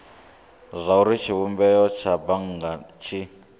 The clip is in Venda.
zwauri tshivhumbeo tsha bannga tshi